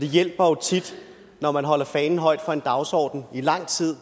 det hjælper jo tit når man holder fanen højt for en dagsorden i lang tid